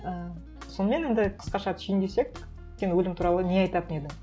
і сонымен енді қысқаша түйіндесек сен өлім туралы не айтатың едің